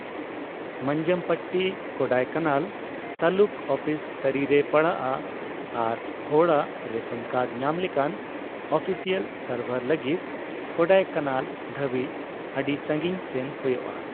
Manjampatti Kodaikanal taluk office ᱛᱟᱹᱨᱤᱨᱮ ᱯᱟᱲᱟᱜᱼᱟ, ᱟᱨ ᱦᱚᱲᱟᱜ ᱨᱮᱥᱚᱱ ᱠᱟᱨᱰ ᱧᱟᱢ ᱞᱮᱠᱟ ᱟᱹᱯᱤᱥᱤᱭᱟᱞ ᱥᱟᱨᱵᱷᱟᱨ ᱞᱟᱹᱜᱤᱫ ᱠᱳᱰᱟᱭᱠᱟᱱᱟᱞ ᱫᱷᱟᱹᱵᱤᱡ ᱟᱹᱰᱤ ᱥᱟᱹᱜᱤᱧ ᱥᱮᱱ ᱦᱳᱭᱳᱜᱼᱟ ᱾